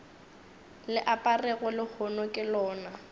le aperego lehono ke lona